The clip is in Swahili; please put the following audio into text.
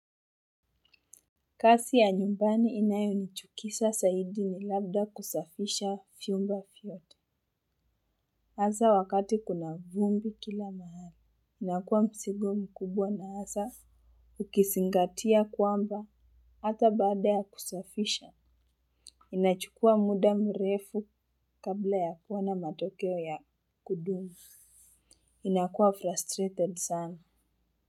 Kasi ya nyumbani inayonichukisa saidi ni labda kusafisha fyumba fyote. Haza wakati kuna vumbi kila mahali. Inakuwa msigo mkubwa na haza ukisingatia kwamba hata baada ya kusafisha. Inachukua muda mrefu kabla ya kuwa na matokeo ya kudumu. Inakuwa frustrated sana.